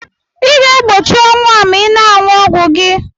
Ị ga-egbochi ọnwụ a ma ị na-ṅụ ọgwụ gị.